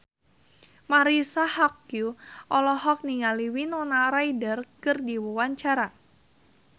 Marisa Haque olohok ningali Winona Ryder keur diwawancara